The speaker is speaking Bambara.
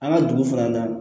An ka dugu fana na